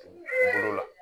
Bolo la